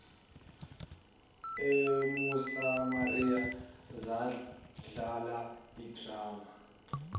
emosamaria zadlala idrama